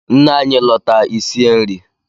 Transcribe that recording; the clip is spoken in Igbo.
Nne anyị lọta i sie nri!